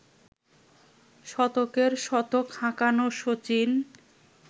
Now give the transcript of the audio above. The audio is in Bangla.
শতকের শতক হাঁকানো শচীন